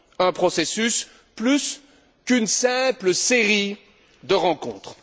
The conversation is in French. un processus plutôt qu'une simple série de rencontres.